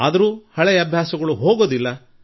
ಆದರೂ ಹಳೆಯ ಅಭ್ಯಾಸ ಹೋಗುವುದಿಲ್ಲ